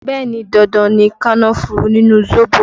Bẹẹ ni, dandan ni kànnáfùrù nínú zobo